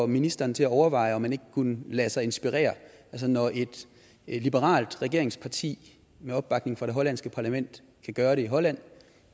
ministeren til at overveje om man ikke kunne lade sig inspirere altså når et liberalt regeringsparti med opbakning fra det hollandske parlament kan gøre det i holland